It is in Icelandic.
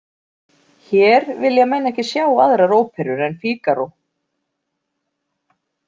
Hér vilja menn ekki sjá aðrar óperur en Fígaró.